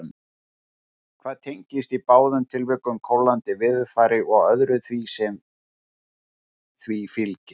Þetta tengist í báðum tilvikum kólnandi veðurfari og öðru sem því fylgir.